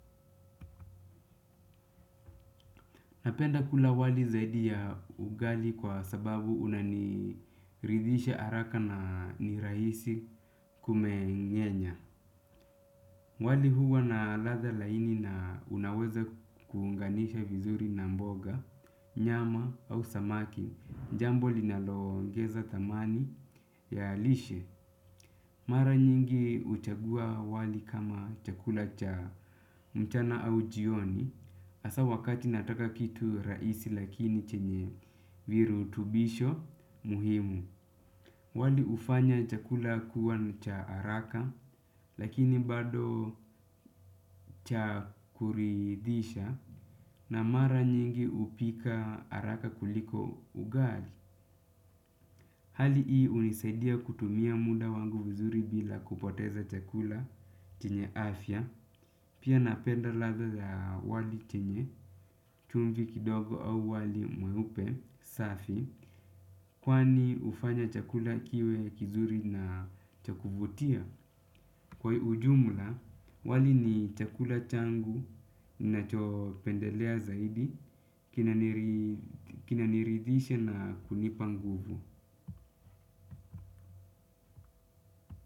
Napenda kula wali zaidi ya ugali kwa sababu unaniridhisha haraka na ni rahisi kumeng'enya. Wali huwa na ladha laini na unaweza kuunganisha vizuri na mboga, nyama au samaki jambo linalo ongeza thamani ya lishe. Mara nyingi huchagua wali kama chakula cha mchana au jioni hasa wakati nataka kitu rahisi lakini chenye virutubisho muhimu. Wali hufanya chakula kuwa cha haraka lakini bado cha kuridhisha na mara nyingi hupika haraka kuliko ugali. Hali hii hunisaidia kutumia muda wangu vizuri bila kupoteza chakula chenye afya, pia napenda ladha za wali chenye, chumvi kidogo au wali mweupe, safi, kwani hufanya chakula kiwe kizuri na cha kuvutia. Kwa ujumla, wali ni chakula changu ninachopendelea zaidi, kinaniridhisha na kunipa nguvu.